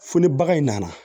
Fo ni bagan in nana